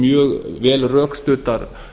mjög vel rökstuddar